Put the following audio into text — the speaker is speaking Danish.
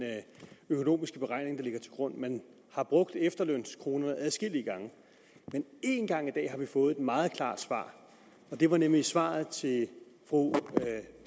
økonomiske beregning der ligger til grund man har brugt efterlønskronerne adskillige gange men én gang i dag har vi fået et meget klart svar og det var nemlig svaret til fru